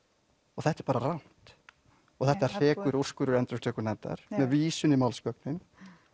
og þetta er bara rangt þetta hrekur úrskurður endurupptökunefndar með vísun í málsgögnin